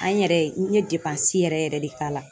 An yɛrɛ n ye i bɛ yɛrɛ yɛrɛ de k'a la.